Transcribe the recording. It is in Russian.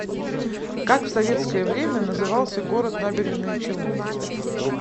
как в советское время назывался город набережные челны